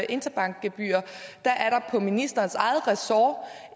interbankgebyrer er der på ministerens eget ressort